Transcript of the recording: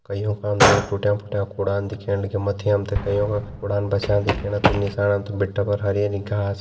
कईयों पे हमते टूट्यां-फुटियाँ कुडान दिख्याण लाग्यां मथि हमते कईयों कुडान बसियां दिख्याणा निसाण हमते भीटे पर हरी-हरी घास --